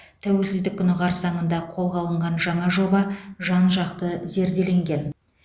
тәуелсіздік күні қарсаңында қолға алынған жаңа жоба жан жақты зерделенген